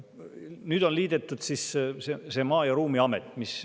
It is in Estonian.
Nüüd on liidetud Maa- ja Ruumiamet.